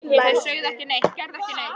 Þau sögðu ekki neitt, gerðu ekki neitt.